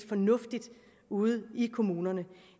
fornuftigt ude i kommunerne